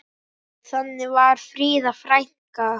Þannig var Fríða frænka.